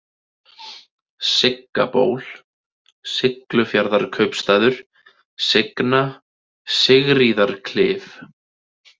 Sigga-Ból, Siglufjarðarkaupstaður, Signa, Sigríðarklif